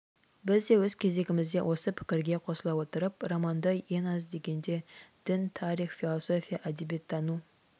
біз де өз кезегімізде осы пікірге қосыла отырып романды ең аз дегенде дін тарих философия әдебиеттану